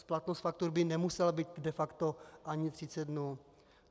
Splatnost faktur by nemusela být de facto ani 30 dnů.